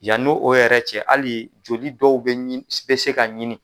Yani o yɛrɛ cɛ, hali joli dɔw bɛɛ bɛ se ka ɲini.